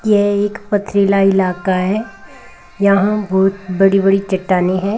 ये एक पथरीला इलाका है यहां बहुत बड़ी बड़ी चट्टानें है।